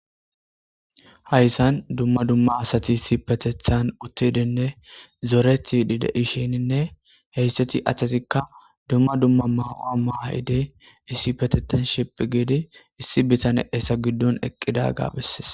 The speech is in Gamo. Hayissan dumma dumma asati issippeteththan uttidinne zorettidi de'ishshenne heyisati atezikka dumma dumma mauwa mayiddi issippeteththan shiphphi giddi issi bitanne eta giddon eqidagga besees.